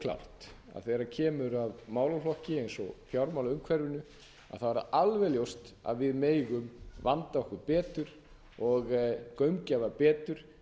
klárt að þegar kemur að málaflokki eins og fjármálaumhverfinu að þá er það alveg ljóst að við megum vanda okkur betur og gaumgæfa betur